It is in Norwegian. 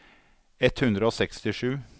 ett hundre og sekstisju